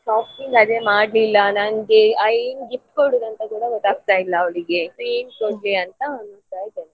Shopping ಅದೇ ಮಾಡ್ಲಿಲ್ಲ ನಂಗೆ ಏನು gift ಕೊಡೋದು ಅಂತ ಕೂಡ ಗೊತ್ತಾಗ್ತಾ ಇಲ್ಲ ಅವರಿಗೆ so ಏನು ಕೊಡ್ಲಿ ಅಂತ ಹುಡುಕ್ತಾ ಇದ್ದೇನೆ.